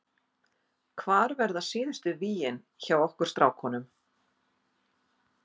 Hvar verða síðustu vígin hjá okkur strákunum?